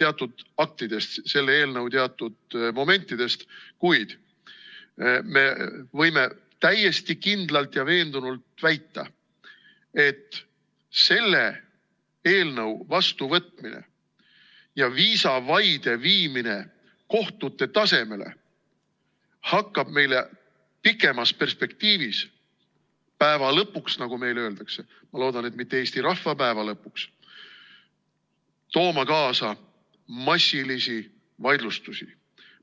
teatud aktidest, selle eelnõu teatud momentidest, kuid me võime täiesti kindlalt ja veendunult väita, et selle eelnõu vastuvõtmine ja viisavaide viimine kohtute tasemele hakkab meile pikemas perspektiivis, päeva lõpuks, nagu meil öeldakse, ma loodan, et mitte eesti rahva päeva lõpuks, tooma kaasa massilisi vaidlustusi.